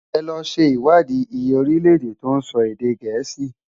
È lò ṣé iwádi iyé órilè-èdè tó nsò èdè Gẹẹsi.